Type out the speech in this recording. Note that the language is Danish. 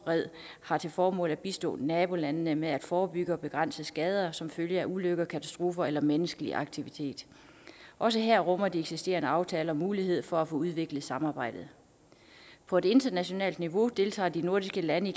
har til formål at bistå nabolandene med at forebygge og begrænse skader som følge af ulykker katastrofer eller menneskelig aktivitet også her rummer de eksisterende aftaler mulighed for at få udviklet samarbejdet på et internationalt niveau deltager de nordiske lande